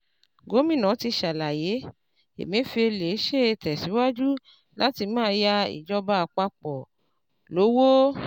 Gómìnà ti ṣàlàyé, Emefiele ṣe tẹ̀síwájú láti máa yá ìjọba àpapọ̀ lówó.